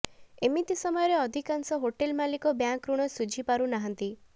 ଏମିତି ସମୟରେ ଅଧିକାଂଶ ହୋଟେଲ ମାଲିକ ବ୍ୟାଙ୍କ ଋଣ ସୁଝି ପାରୁ ନାହାନ୍ତି